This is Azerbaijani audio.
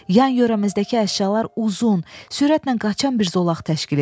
Yan-yörəmizdəki əşyalar uzun, sürətlə qaçan bir zolaq təşkil edir.